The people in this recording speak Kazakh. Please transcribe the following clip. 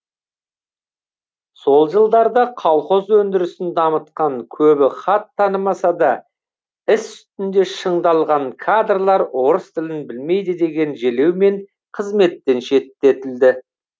сол жылдарда колхоз өндірісін дамытқан көбі хат танымаса да іс үстінде шыңдалған кадрлар орыс тілін білмейді деген желеумен қызметтен шеттетілді